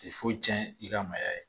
Ti fo tiɲɛ i ka maaya ye